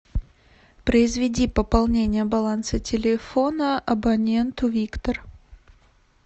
произведи пополнение баланса телефона абоненту виктор